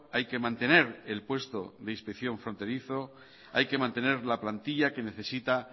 hay que mantener el puesto de inspección fronterizo hay que mantener la plantilla que necesita